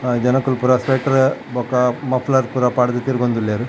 ಆ ಜನೊಕುಲು ಪೂರ ಸ್ವೆಟ್ಟ್ರ್ ಬೊಕ ಮಫ್ಲರ್ ಪೂರ ಪಾಡ್ಡ್ ತಿಗೊಂದುಲ್ಲೆರ್.